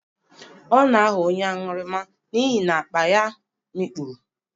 Ọ na-aghọ onye aṅụrụma n'ihi na akpa ya mikpuru.